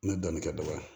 N bɛ dɔɔnin kɛ dɔgɔya